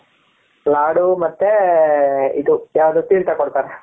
ಲಾಡು ಮತ್ತೆ ಇದು ,ಯಾವದು ತಿರತಾ ಕೊಡ್ತಾರೆ ,